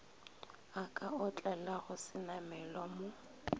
a ka otlelago senamelwa mo